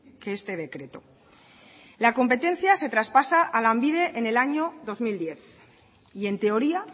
que este decreto la competencia se traspasa a lanbide en el año dos mil diez y en teoría